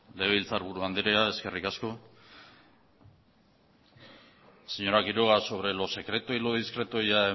legebiltzarburu andrea eskerrik asko señora quiroga sobre lo secreto y lo discreto ya